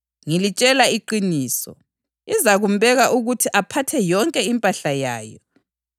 Ngilitshela iqiniso, izakumbeka ukuthi aphathe yonke impahla yayo.